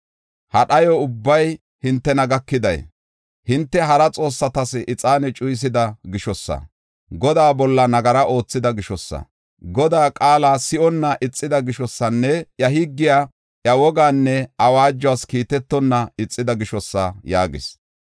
Ha dhayo ubbay hintena gakiday, hinte hara xoossatas ixaane cuyisida gishosa, Godaa bolla nagara oothida gishosa, Godaa qaala si7onna ixida gishosanne iya higgiya, iya wogaanne awaajuwas kiitetonna ixida gishosa” yaagis.